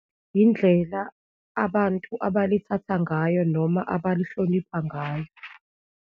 Yindlela abantu abalithatha ngayo noma abalihlonipha ngayo.